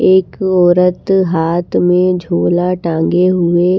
एक औरत हाथ में झोला टांगे हुए--